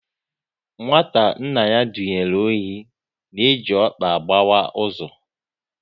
Nwata nna ya dunyere ohi na-eji ọkpa agbawa ụzọ